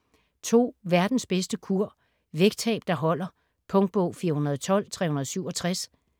Verdens bedste kur: vægttab der holder Punktbog 412367